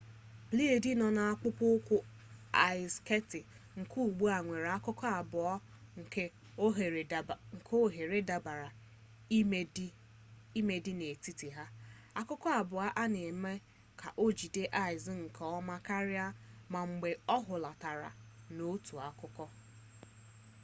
bleedi nọ n'akpụkpọ ụkwụ aịz sketị nke ugbua nwere akụkụ abụọ nke oghere dabara ime dị n'etiti ha akụkụ abụọ a na-eme ka o jide aịz nke ọma karịa ma mgbe o hulatara n'otu akụkụ